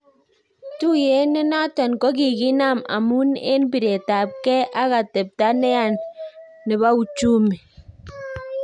Tuyet ne naton kokikinam amun en piretap ng'e ak atepta neya nepouchumi